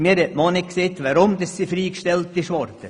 Mir hat man auch nicht gesagt, weshalb sie freigestellt wurde.